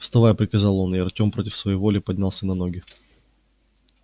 вставай приказал он и артем против своей воли поднялся на ноги